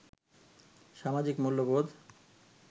সামাজিক মূল্যবোধ